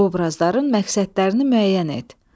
Obrazların məqsədlərini müəyyən et.